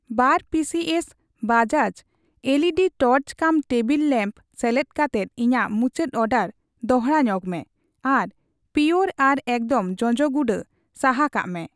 ᱵᱟᱨ pieces Bajaj LED torch ᱠᱟᱢ table lamp ᱥᱮᱞᱮᱫ ᱠᱟᱛᱮᱫ ᱤᱧᱟᱜ ᱢᱩᱪᱟᱹᱰ ᱚᱰᱟᱨ ᱫᱚᱲᱦᱟ ᱧᱚᱜᱢᱮ ᱟᱨ ᱯᱤᱭᱳᱨ ᱟᱨ ᱮᱠᱫᱚᱢ ᱡᱚᱡᱚ ᱜᱩᱰᱟᱹ ᱥᱟᱦᱟ ᱠᱟᱜ ᱢᱮ ᱾